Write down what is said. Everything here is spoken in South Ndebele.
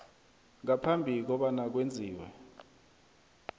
ngaphambi kobana kwenziwe